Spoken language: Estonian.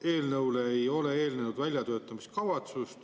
Eelnõule ei ole eelnenud väljatöötamiskavatsust.